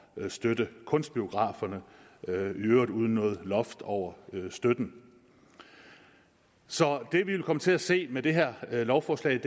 støtte kunstbiograferne i øvrigt uden noget loft over støtten så det vi vil komme til at se med det her lovforslag